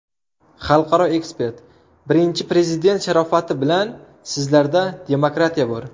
Xalqaro ekspert: Birinchi Prezident sharofati bilan sizlarda demokratiya bor.